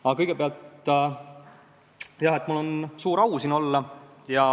Aga kõigepealt: mul on suur au siin olla.